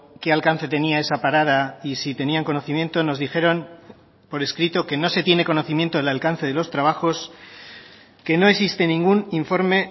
qué alcance tenía esa parada y si tenían conocimiento nos dijeron por escrito que no se tiene conocimiento del alcance de los trabajos que no existe ningún informe